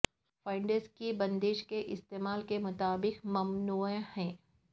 funds کی بندش کے استعمال کے مطابق ممنوع ہے